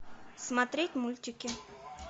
смотреть мультики